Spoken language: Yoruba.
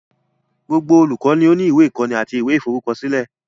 Gbogbo olùkọ́ ni ó ní ìwé ìkọ́ni àti ìwé ìforúkọsílẹ̀.